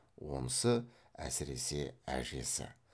онысы әсіресе әжесі